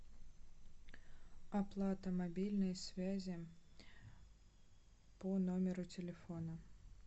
оплата мобильной связи по номеру телефона